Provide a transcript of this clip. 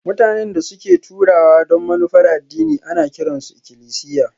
Mutanen da suke taruwa don manufar addini ana kiran su ikilisiya